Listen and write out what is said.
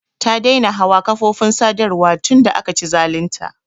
Ta daina hawa kafofin sadarwa tun da aka ci zalun ta.